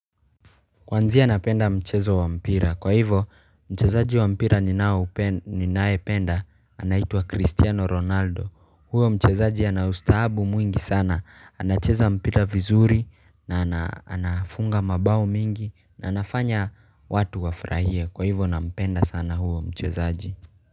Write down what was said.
Kwanzia napenda mchezo wa mpira. Kwa hivo mchezaji wa mpira ninayependa anaitwa cristiano ronaldo huyo mchezaji ana ustahabu mwingi sana anacheza mpira vizuri na anafunga mabao mingi na anafanya watu wafurahie kwa hivo nampenda sana huyo mchezaji.